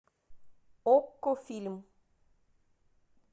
окко фильм